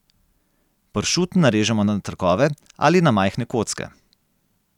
Pršut narežemo na trakove ali na majhne kocke.